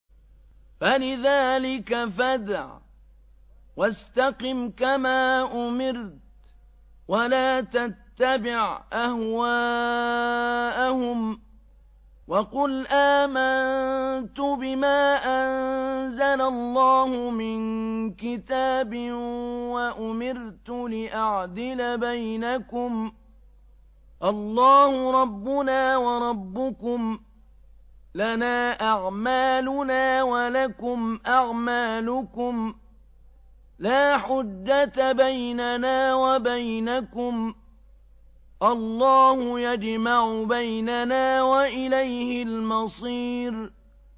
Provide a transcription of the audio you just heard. فَلِذَٰلِكَ فَادْعُ ۖ وَاسْتَقِمْ كَمَا أُمِرْتَ ۖ وَلَا تَتَّبِعْ أَهْوَاءَهُمْ ۖ وَقُلْ آمَنتُ بِمَا أَنزَلَ اللَّهُ مِن كِتَابٍ ۖ وَأُمِرْتُ لِأَعْدِلَ بَيْنَكُمُ ۖ اللَّهُ رَبُّنَا وَرَبُّكُمْ ۖ لَنَا أَعْمَالُنَا وَلَكُمْ أَعْمَالُكُمْ ۖ لَا حُجَّةَ بَيْنَنَا وَبَيْنَكُمُ ۖ اللَّهُ يَجْمَعُ بَيْنَنَا ۖ وَإِلَيْهِ الْمَصِيرُ